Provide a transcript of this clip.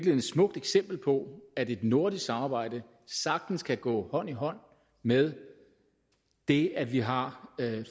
et smukt eksempel på at et nordisk samarbejde sagtens kan gå hånd i hånd med det at vi har